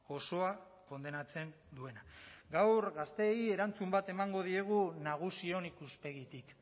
osoa kondenatzen duena gaur gazteei erantzun bat emango diegu nagusion ikuspegitik